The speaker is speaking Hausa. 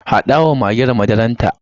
Haɗa wa magen madararta.